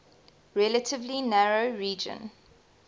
relatively narrow region